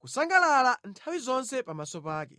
kusangalala nthawi zonse pamaso pake.